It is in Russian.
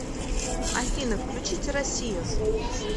афина включите россию